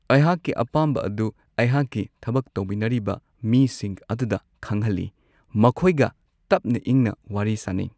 ꯑꯩꯍꯥꯛꯀꯤ ꯑꯄꯥꯝꯕ ꯑꯗꯨ ꯑꯩꯍꯥꯛꯀ ꯊꯕꯛ ꯇꯧꯃꯤꯟꯅꯔꯤꯕ ꯃꯤꯁꯤꯡ ꯑꯗꯨꯗ ꯈꯪꯍꯜꯂꯤ ꯃꯈꯣꯏꯒ ꯇꯞꯅ ꯏꯪꯅ ꯋꯥꯔꯤ ꯁꯥꯟꯅꯩ